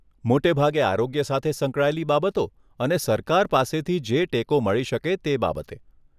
મોટે ભાગે આરોગ્ય સાથે સંકળાયેલી બાબતો અને સરકાર પાસેથી જે ટેકો મળી શકે તે બાબતે.